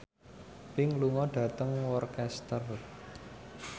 Pink lunga dhateng Worcester